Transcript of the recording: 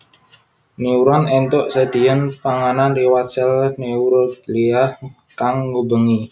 Neuron éntuk sedhiyan panganan liwat sèl neuroglia kang ngubengi